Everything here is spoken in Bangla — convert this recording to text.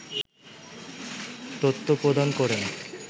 তত্ত্ব প্রদান করেন